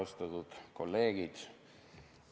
Austatud kolleegid!